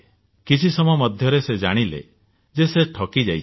କିଛି ସମୟ ମଧ୍ୟରେ ସେ ଜାଣିଲେ ଯେ ସେ ଠକି ଯାଇଛନ୍ତି